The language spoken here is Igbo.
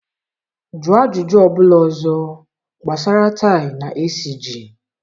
Jụọ ajụjụ ọ bụla ọzọ gbasara tie na esiji!